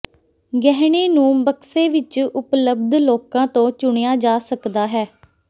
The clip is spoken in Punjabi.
ਗਹਿਣੇ ਨੂੰ ਬਕਸੇ ਵਿਚ ਉਪਲੱਬਧ ਲੋਕਾਂ ਤੋਂ ਚੁਣਿਆ ਜਾ ਸਕਦਾ ਹੈ